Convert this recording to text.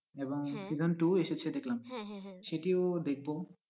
এবং season two এসেছে দেখলাম সেটিও দেখবো।